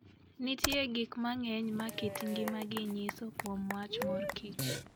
Nitie gik mang'eny ma kit ngimagi nyiso kuom wach mor kich.